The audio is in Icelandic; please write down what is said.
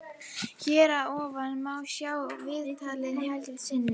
Hér að ofan má sjá viðtalið heild sinni.